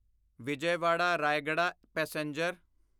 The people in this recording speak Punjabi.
ਵਿਜੈਵਾੜਾ ਰਾਇਆਗਾੜਾ ਪੈਸੇਂਜਰ